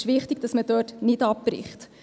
Es ist wichtig, dass man dort nicht abbricht.